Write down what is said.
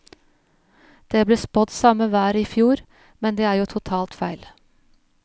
Det ble spådd samme vær som i fjor, men det er jo totalt feil.